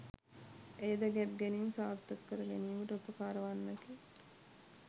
එය ද ගැබ් ගැනීම් සාර්ථක කැර ගැනීමට උපකාරවන්නකි